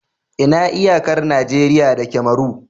Ina iyakar Najeriya da Cameron?